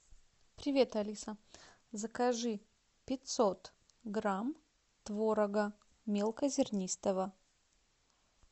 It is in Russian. привет алиса закажи пятьсот грамм творога мелкозернистого